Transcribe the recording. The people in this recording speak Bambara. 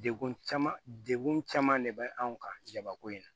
Dekun caman dekun caman de bɛ anw kan jabako in na